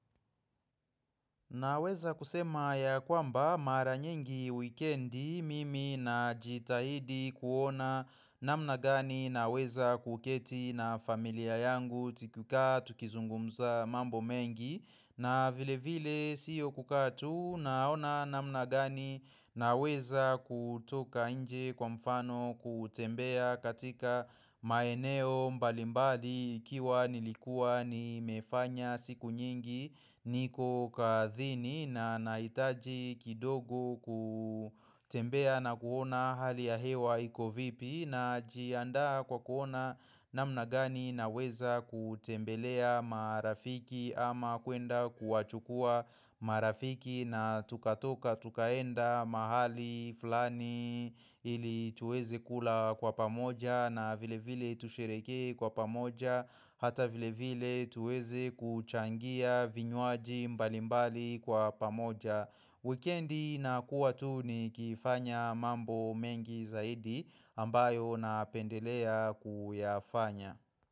Naweza kusema ya kwamba mara nyingi weekendi mimi na jitahidi kuona namna gani naweza kuketi na familia yangu tukikaa tukizungumza mambo mengi na vile vile siyo kukaa tu naona namna gani naweza kutoka nje kwa mfano kutembea katika maeneo mbali mbali ikiwa nilikua nimefanya siku nyingi niko kathini na nahitaji kidogo kutembea na kuona hali ya hewa iko vipi na jiadaa kwa kuona namna gani na weza kutembelea marafiki ama kuenda kuwachukua marafiki na tukatoka tukaenda mahali fulani ili tuweze kula kwa pamoja na vile vile tusheherekee kwa pamoja. Hata vile vile tuwezi kuchangia vinywaji mbali mbali kwa pamoja Weekendi inakuwa tu ni kifanya mambo mengi zaidi ambayo napendelea kuyafanya.